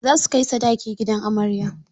Za su kai sadaki gidan amarya.